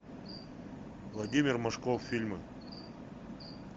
владимир машков фильмы